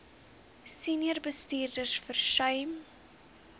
senior bestuurders versuim